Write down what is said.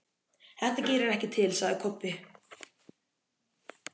Þetta gerir ekkert til, sagði Kobbi.